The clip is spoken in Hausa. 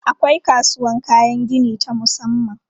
Akwai kasuwan kayan gini ta musamman.